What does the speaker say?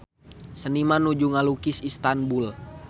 Seniman nuju ngalukis Istanbul